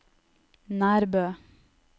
Nærbø